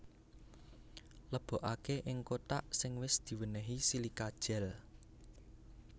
Lebokaké ing kothak sing wis diwénéhi silika gel